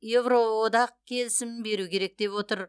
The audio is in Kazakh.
еуроодақ келісімін беру керек деп отыр